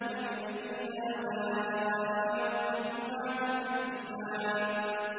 فَبِأَيِّ آلَاءِ رَبِّكُمَا تُكَذِّبَانِ